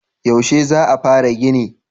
Yaushe za a fara gini?